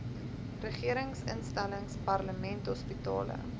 regeringsinstellings parlement hospitale